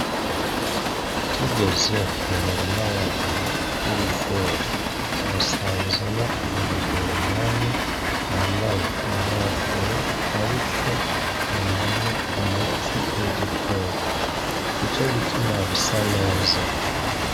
Tugeze mu murima wawe w’ibigori twasanzemwo umugoronome yambaye inkofero ariko apompamwo umuti w’udukoko nico gituma bisa neza.